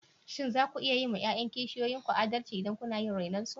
Shin za ku yi wa ’ya’yan kishiyan ki adalci idan kuna iya renon su?